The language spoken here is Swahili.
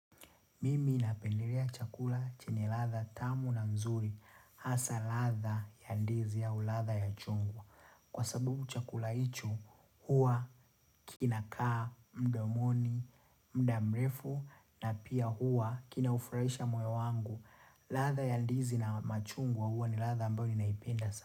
Mimi napendelea chakula chenye ladha tamu na mzuri, hasa ladha ya ndizi ya ladha ya chungwa. Kwa sababu chakula hicho, hua inakaa, mdomoni, muda mrefu na pia huwa kinaufurahisha moyo wangu. Ladha ya ndizi na machungwa huwa ni ladha ambayo ninaipenda sa.